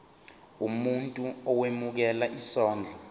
umuntu owemukela isondlo